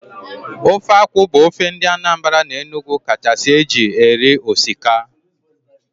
Ofe akwụ bụ ofe ndị Anambra na Enugu kachasị eji eri osikaoa